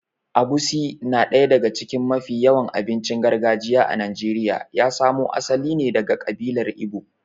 Egusi na daya daga cikin mafi yawan abincin gargajiya a Najeriya ya samo asali ne daga ƙabilar Igbo.